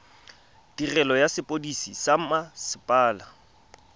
tirelo ya sepodisi sa mmasepala